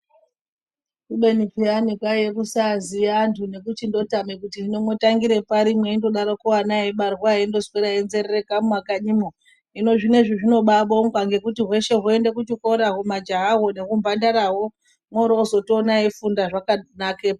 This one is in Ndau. Kubeni peyani kwaiye kusaziya antu nekuti ndotama kuti ndotangire pari mweindodaroko ana eibarwa eindoswera einzerereka mumakanyimwo hino zvinezvi zvinobabongwa ngekuti hweshe hwoende kuchikora humajahawo nehumbandarahwo mworozotoona eifunda zvakanakepo.